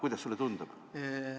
Kuidas sulle tundub?